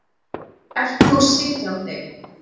Ert þú sitjandi?